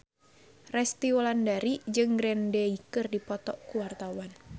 Resty Wulandari jeung Green Day keur dipoto ku wartawan